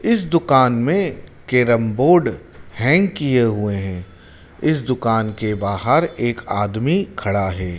इस दुकान में कैरम बोर्ड हैंग किए हुए हैं। इस दुकान के बाहर एक आदमी खड़ा है।